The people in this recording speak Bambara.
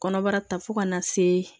Kɔnɔbara ta fo ka na se